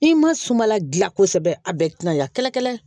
I ma suma la gilan kosɛbɛ a bɛɛ ti na ya kɛlɛ kɛlɛ